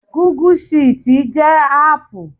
Gùgú ṣììtì jẹ́ áàpù